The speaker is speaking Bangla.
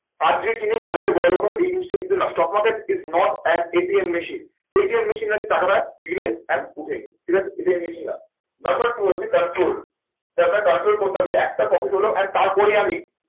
আজকে কিনে কালকে বড়োলোক হবে এই জিনিসটা কিন্তু না stock market is not at ATM machine ATM machine না যে টাকাটা দিলেন and উঠিয়ে নিলেন ঠিক আছে ATM machine না। number two হচ্ছে control এটা আপনার control করতে হবে যে একটা profit হলো and তার পরেই আমি